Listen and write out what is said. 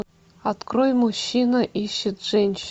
открой мужчина ищет женщину